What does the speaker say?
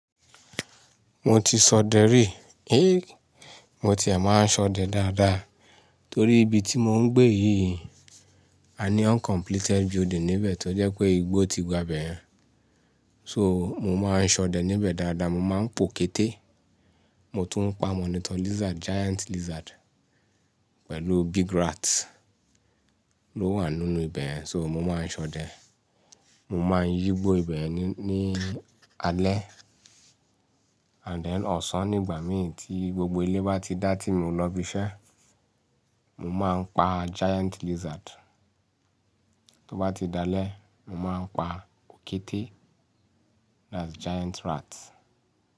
Mo ti sọdẹ rí, mo ti ẹ máa ń sọdẹ dáadáa torí ibi tí mo ń gbé yìí a ní uncompleted building níbẹ̀ tó jẹ́ pé igbó ti gba ibẹ̀ yẹn. So mo máa ń sọdẹ níbẹ̀ dáadáa, mo máa ń po kété, mo tún ń pa monitor lizard, giant lizard pẹ̀lú big rats ló wà nínú ibẹ̀ yẹn so mo máa ń sọdẹ. Mo máa ń yígbó ibẹ̀ yẹn ní, ní alẹ́ and then ọ̀sán nígbà mìí tí gbogbo ilé bá ti dá tí mo lọ ibi iṣẹ́, mo máa ń pa giant lizard. Tó bá ti dalẹ́, mo máa ń pa òkété, that's giant rat.